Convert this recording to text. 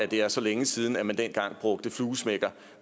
det er så længe siden at man dengang brugte fluesmækker